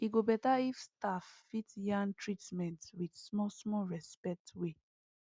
e go better if staff fit yarn treatments with small small respect way